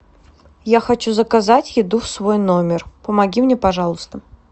я хочу заказать еду в свой номер помоги мне пожалуйста